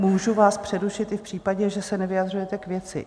Můžu vás přerušit i v případě, že se nevyjadřujete k věci.